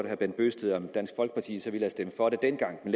at no bent bøgsted om dansk folkeparti så ville have stemt for det dengang men